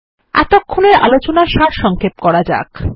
এতক্ষণের আলোচনার সারসংক্ষেপ করা যাক